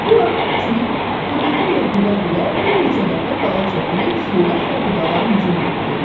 Bu vaxt küçüy xırıltı ilə hürə-hürə bir neçə dəfə dala çəkilib sürətlə budağa hücum etdi.